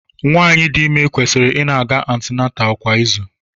Nwaanyị dị ime kwesịrị ị na-aga antinental kwa izu.